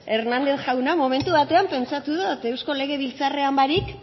hernández jauna momentu batean pentsatu dot eusko legebiltzarrean barik